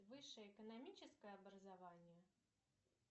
высшее экономическое образование